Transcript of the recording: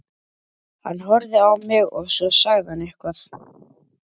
Hann horfði á mig og svo sagði hann eitthvað.